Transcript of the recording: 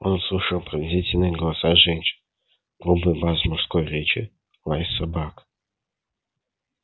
он услышал пронзительные голоса женщин грубый бас мужской речи лай собак